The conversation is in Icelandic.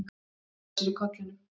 Hann klóraði sér í kollinum.